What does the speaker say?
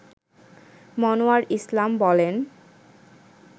মনোয়ার ইসলাম বলেন